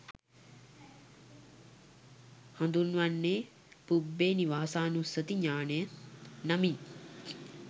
හඳුන්වන්නේ පුබ්බේ නිවාසානුස්සති ඤාණය නමින්.